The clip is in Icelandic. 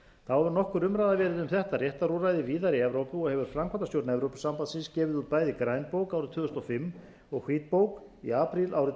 þá hefur nokkur umræða verið um þetta réttarúrræði víðar í evrópu og hefur framkvæmdastjórn evrópusambandsins gefið út bæði grænbók árið tvö þúsund og fimm og hvítbók í apríl árið tvö